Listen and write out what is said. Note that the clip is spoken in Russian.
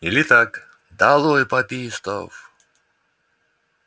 или так долой папистов